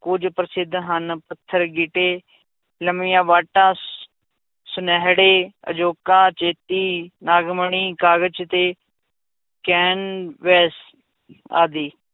ਕੁੱਝ ਪ੍ਰਸਿੱਧ ਹਨ, ਪੱਥਰ ਗਿੱਟੇ, ਲੰਮੀਆਂ ਵਾਟਾਂ ਸੁਨਿਹੜੇ, ਅਜੋਕਾ ਚੇਤੀ, ਨਾਗਮਣੀ, ਕਾਗਜ਼ ਤੇ ਕੈਨਵਸ ਆਦਿ